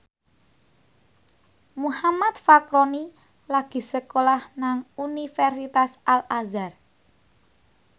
Muhammad Fachroni lagi sekolah nang Universitas Al Azhar